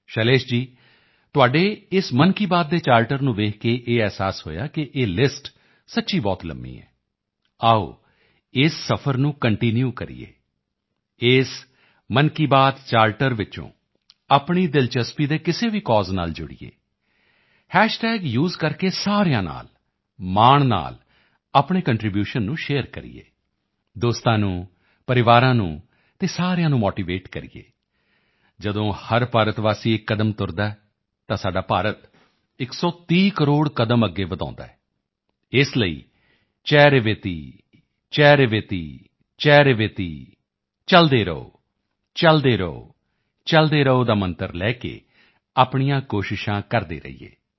ਸ਼ੈਲੇਸ਼ ਜੀ ਤੁਹਾਡੇ ਇਸ ਮਨ ਕੀ ਬਾਤ ਦੇ ਚਾਰਟਰ ਨੂੰ ਵੇਖ ਕੇ ਇਹ ਅਹਿਸਾਸ ਹੋਇਆ ਕਿ ਇਹ ਲਿਸਟ ਸੱਚੀ ਬਹੁਤ ਲੰਬੀ ਹੈ ਆਓ ਇਸ ਸਫਰ ਨੂੰ ਕੰਟੀਨਿਊ ਕਰੀਏ ਇਸ ਮਨ ਕੀ ਬਾਤ ਚਾਰਟਰ ਵਿੱਚੋਂ ਆਪਣੀ ਦਿਲਚਸਪੀ ਦੇ ਕਿਸੇ ਵੀ ਕੌਜ਼ ਨਾਲ ਜੁੜੀਏ ਹੈਸ਼ਟੈਗ ਸੇ ਕਰਕੇ ਸਾਰਿਆਂ ਨਾਲ ਮਾਣ ਨਾਲ ਆਪਣੇ ਕੰਟਰੀਬਿਊਸ਼ਨ ਨੂੰ ਸ਼ੇਅਰ ਕਰੀਏ ਦੋਸਤਾਂ ਨੂੰ ਪਰਿਵਾਰ ਨੂੰ ਅਤੇ ਸਾਰਿਆਂ ਨੂੰ ਮੋਟੀਵੇਟ ਕਰੀਏ ਜਦੋਂ ਹਰ ਭਾਰਤਵਾਸੀ ਇੱਕ ਕਦਮ ਤੁਰਦਾ ਹੈ ਤਾਂ ਸਾਡਾ ਭਾਰਤ 130 ਕਰੋੜ ਕਦਮ ਅੱਗੇ ਵਧਾਉਂਦਾ ਹੈ ਇਸੇ ਲਈ ਚਰੈਵੇਤਿਚਰੈਵੇਤਿਚਰੈਵੇਤਿ ਚਲਦੇ ਰਹੋ ਚਲਦੇ ਰਹੋ ਚਲਦੇ ਰਹੋ ਦਾ ਮੰਤਰ ਲੈ ਕੇ ਆਪਣੀਆਂ ਕੋਸ਼ਿਸ਼ਾਂ ਕਰਦੇ ਰਹੀਏ